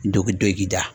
Dɔkidogida